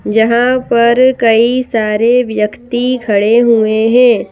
जहां पर कई सारे व्यक्ति खड़े हुए हैं।